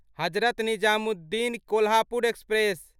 Hazrat Nizamuddin Kolhapur express